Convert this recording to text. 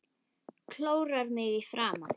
Klórar mig í framan.